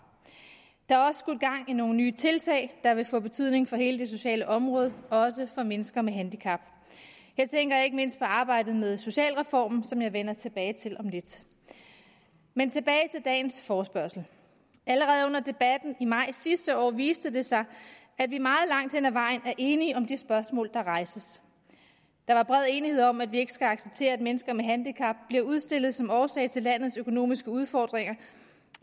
der er i nogle nye tiltag der vil få betydning for hele det sociale område også for mennesker med handicap her tænker jeg ikke mindst på arbejdet med socialreformen som jeg vender tilbage til om lidt men tilbage til dagens forespørgsel allerede under debatten i maj sidste år viste det sig at vi meget langt hen ad vejen er enige om det spørgsmål der rejses der var bred enighed om at vi ikke skal acceptere at mennesker med handicap bliver udstillet som årsag til landets økonomiske udfordringer